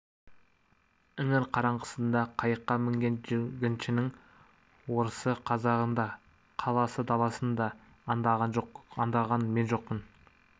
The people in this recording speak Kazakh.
іңір қараңғысында қайыққа мінген жүргіншінің орысы қазағын да қаласы даласын да аңдаған мен жоқпын